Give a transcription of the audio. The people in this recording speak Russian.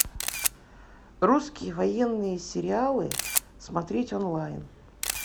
русские военные сериалы смотреть онлайн